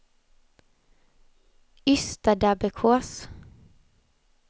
Ystadabbekås